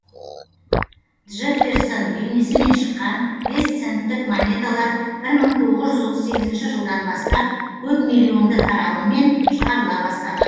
джефферсон бейнесімен шыққан бес центтік монеталар бір мың тоғыз жүз отыз сегізінші жылдан бастап көп миллионды таралымммен шығарыла бастаған